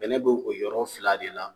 Bɛnɛ be o yɔrɔ fila de la